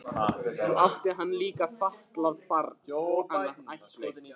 Svo átti hann líka fatlað barn og annað ættleitt.